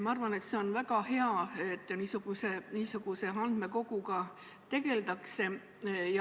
Ma arvan, et see on väga hea, et niisuguse andmekoguga tegeldakse.